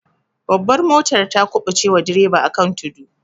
Babbar motar ta kubuce wa direba akan tudu.